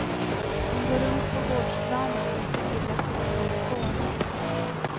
Hon går runt på gårdsplanen med sin lilla ficktelefon.